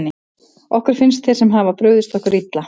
Okkur finnst sem þeir hafi brugðist okkur illa.